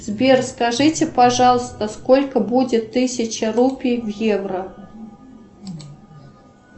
сбер скажите пожалуйста сколько будет тысяча рупий в евро